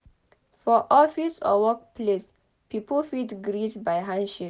For office or work place pipo fit greet by handshake